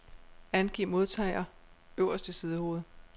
Angiv modtager øverst i sidehovedet.